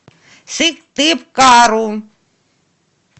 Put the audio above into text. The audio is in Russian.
сыктывкару